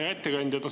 Hea ettekandja!